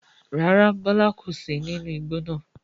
Rárá, Bọlá kò sì ní inú igbó náà.